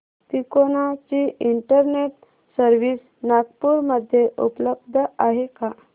तिकोना ची internet service Nagpur मध्ये उपलब्ध आहे का